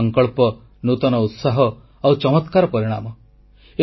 ନୂତନ ସଂକଳ୍ପ ନୂତନ ଉତ୍ସାହ ଆଉ ଚମକ୍ରାର ପରିଣାମ